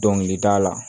Dɔnkilida la